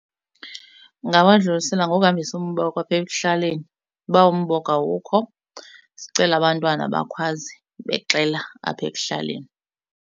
Ungawadlulisela ngokuhambisa umboko apha ekuhlaleni. Uba umboko awukho sicele abantwana bakhwaze bexela apha ekuhlaleni.